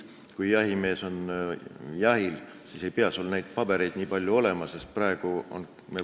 Kui jahimees on edaspidi jahil, siis ei pea tal nii palju pabereid kaasas olema.